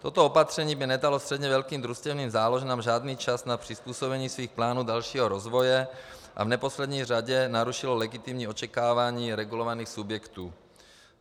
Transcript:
Toto opatření by nedalo středně velkým družstevním záložnám žádný čas na přizpůsobení svých plánů dalšího rozvoje a v neposlední řadě narušilo legitimní očekávání regulovaných subjektů.